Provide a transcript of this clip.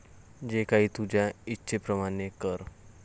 जे काही तुझ्या इच्छेप्रमाणे कर.